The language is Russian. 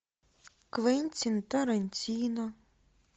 квентин тарантино